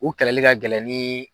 U kɛlɛli ka gɛlɛ ni